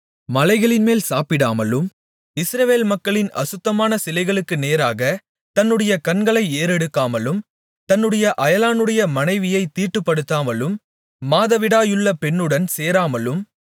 மலைகளின்மேல் சாப்பிடாமலும் இஸ்ரவேல் மக்களின் அசுத்தமான சிலைகளுக்கு நேராகத் தன்னுடைய கண்களை ஏறெடுக்காமலும் தன்னுடைய அயலானுடைய மனைவியைத் தீட்டுப்படுத்தாமலும் மாதவிடாயுள்ள பெண்ணுடன் சேராமலும்